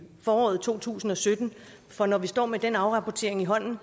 foråret to tusind og sytten for når vi står med den afrapportering i hånden